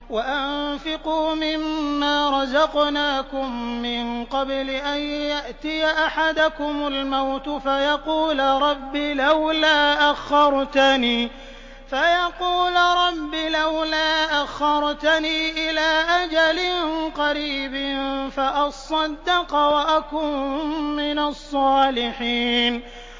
وَأَنفِقُوا مِن مَّا رَزَقْنَاكُم مِّن قَبْلِ أَن يَأْتِيَ أَحَدَكُمُ الْمَوْتُ فَيَقُولَ رَبِّ لَوْلَا أَخَّرْتَنِي إِلَىٰ أَجَلٍ قَرِيبٍ فَأَصَّدَّقَ وَأَكُن مِّنَ الصَّالِحِينَ